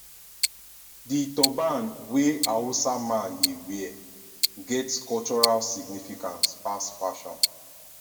di turban wey hausa man dey wear get cultural significance pass fashion